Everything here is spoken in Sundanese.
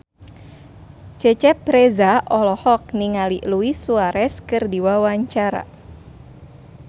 Cecep Reza olohok ningali Luis Suarez keur diwawancara